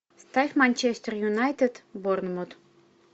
ставь манчестер юнайтед борнмут